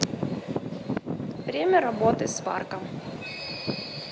время работы сварка